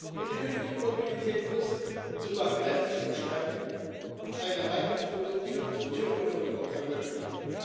Und die künftige Mobilität muss sogar grenzüberschreitend eine reibungslose Tür zu Tür Beförderung ermöglichen.